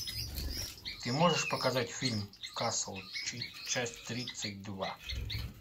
ты можешь показать фильм касл часть тридцать два